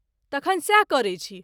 तखन सैह करै छी।